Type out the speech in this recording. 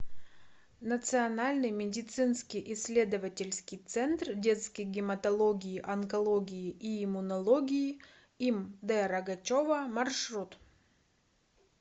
национальный медицинский исследовательский центр детской гематологии онкологии и иммунологии им д рогачева маршрут